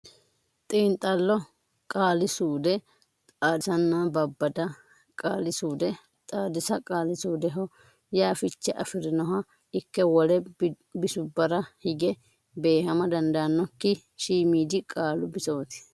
Xiinxallo Qaali suude Xaadisanna Babbada Qaali suude Xaadisa Qaali suudeho yaa fiche afi rinoha ikke wole bisubbara hige beehama dandaannokki shiimiidi qaalu bisooti.